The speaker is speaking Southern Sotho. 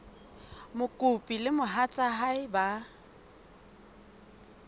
mokopi le mohatsa hae ba